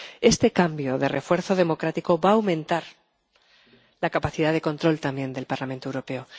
Este cambio de refuerzo democrático va a aumentar la capacidad de control también del Parlamento Europeo.